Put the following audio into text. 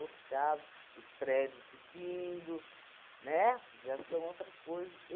caso, os prédios subindo, né? Já são outras coisas.